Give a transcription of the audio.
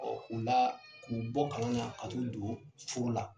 u la k'u bɔ kalan na ka t'u don furu la.